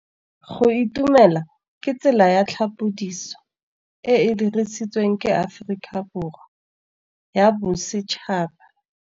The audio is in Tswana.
Go itumela ke tsela ya tlhapolisô e e dirisitsweng ke Aforika Borwa ya Bosetšhaba.